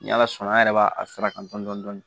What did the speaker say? Ni ala sɔnna an yɛrɛ b'a fara kan dɔn dɔni